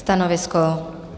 Stanovisko?